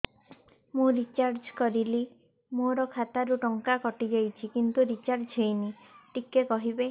ମୁ ରିଚାର୍ଜ କରିଲି ମୋର ଖାତା ରୁ ଟଙ୍କା କଟି ଯାଇଛି କିନ୍ତୁ ରିଚାର୍ଜ ହେଇନି ଟିକେ କହିବେ